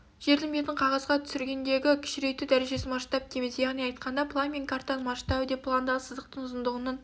жердің бетін қағазға түсіргендегі кішірейту дәрежесін масштаб дейміз яғни айтқанда план мен картаның масштабы деп пландағы сызықтың ұзындығының